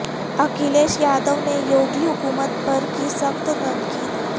اکھلیش یادو نے یوگی حکومت پر کی سخت تنقید